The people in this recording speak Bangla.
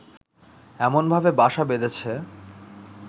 এমনভাবে বাসা বেঁধেছে